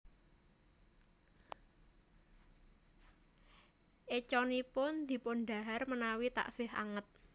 Écanipun dipun dahar menawi teksih anget